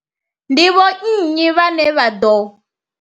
Ndi vho nnyi vhane vha ḓo.